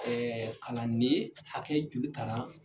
kalannen hakɛ joli tara.